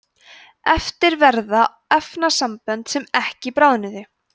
eftir verða efnasambönd sem ekki bráðnuðu